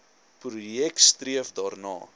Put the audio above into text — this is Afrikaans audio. projek streef daarna